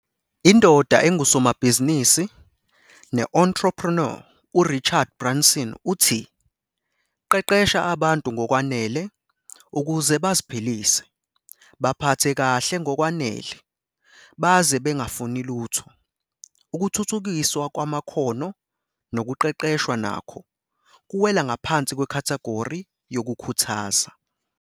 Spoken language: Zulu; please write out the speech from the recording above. Indoda engusomabhizinisi ne-entrepreneur uRichard Branson uthi- 'Qeqesha abantu ngokwanele ukuze baziphilise, baphathe kahle ngokwanele baze bengafuni lutho.' Ukuthuthukiswa kwamakhono nokuqeqeshwa nakho kuwela ngaphansi kwekhathagori yokukhuthaza.